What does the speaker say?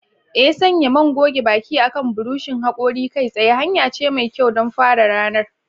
Ee, sanya man goge baki akan buroshin hakori kai tsaye hanya ce mai kyau don fara ranar.